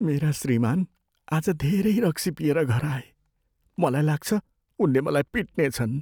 मेरा श्रीमान् आज धेरै रक्सी पिएर घर आए। मलाई लाग्छ उनले मलाई पिट्नेछन्।